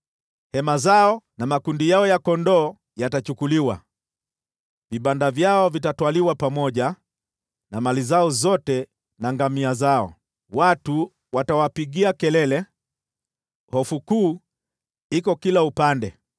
Hema zao na makundi yao ya kondoo yatachukuliwa; vibanda vyao vitatwaliwa pamoja na mali zao zote na ngamia zao. Watu watawapigia kelele, ‘Hofu kuu iko kila upande!’